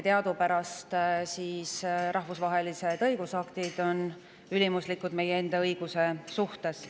Teadupärast on rahvusvahelised õigusaktid ülimuslikud meie enda õiguse suhtes.